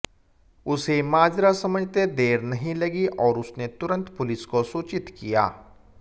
उसे माजरा समझते देर नहीं लगी और उसने तुरंत पुलिस को सूचित किया